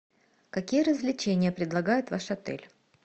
какие развлечения предлагает ваш отель